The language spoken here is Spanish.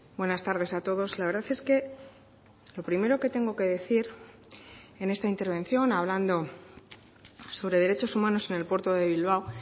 buenas tardes a todos la verdad es que lo primero que tengo que decir en esta intervención hablando sobre derechos humanos en el puerto de bilbao